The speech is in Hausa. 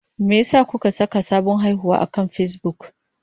Me yasa kuka saka sabon haihuwa akan Facebook?